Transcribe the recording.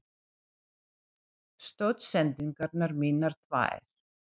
Stoðsendingarnar mínar tvær?